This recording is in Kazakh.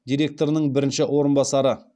директорының бірінші орынбасары